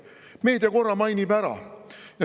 Meedia korra mainib ära.